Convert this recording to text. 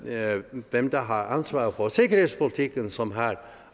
er jo dem der har ansvaret for sikkerhedspolitikken som har